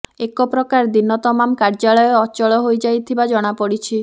ଏକ ପ୍ରକାର ଦିନ ତମାମ କାର୍ଯ୍ୟାଳୟ ଅଚଳ ହୋଇଯାଇଥିବା ଜଣାପଡିଛି